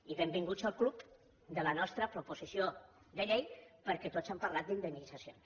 i benvinguts al club de la nostra proposició de llei perquè tots hem parlat d’indemnitzacions